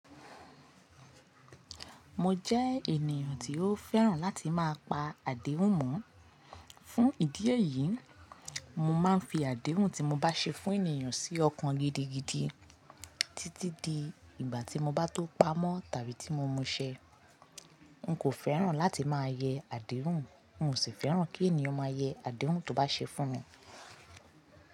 Mo jẹ́ ènìyàn tí ó fẹ́ràn láti máa pa àdéhùn mọ́. Fún ìdí èyí, mo máa ń fi àdéhùn tí mo bá ṣe fún ènìyàn sí ọkàn gidigidi títí di ìgbà tí mo bá tó pamọ́. Tàbí tí mo muṣẹ. N kò fẹ́ràn láti máa yẹ àdéhùn, n ó sì fẹ́ràn kí ènìyàn máa yẹ àdéhùn tó bá ṣe fún mi.